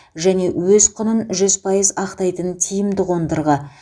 және өз құнын жүз пайыз ақтайтын тиімді қондырғы